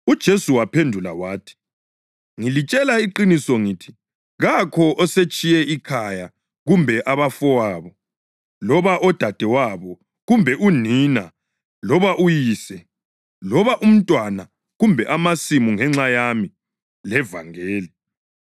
UJesu waphendula wathi, “Ngilitshela iqiniso ngithi kakho osetshiye ikhaya kumbe abafowabo, loba odadewabo, kumbe unina loba uyise, loba umntwana kumbe amasimu ngenxa yami levangeli